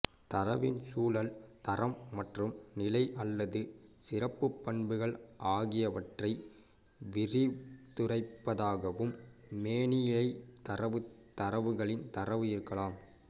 தரவின் சூழல் தரம் மற்றும் நிலை அல்லது சிறப்புப் பண்புகள் ஆகியவற்றை விரித்துரைப்பதாகவும் மேனிலைத் தரவு தரவுகளின் தரவு இருக்கலாம்